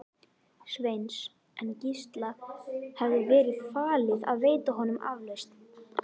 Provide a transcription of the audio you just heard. Sveins, en Gísla hafði verið falið að veita honum aflausn.